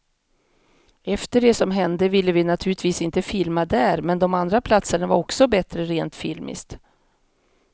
Efter det som hände ville vi naturligtvis inte filma där, men de andra platserna var också bättre rent filmiskt.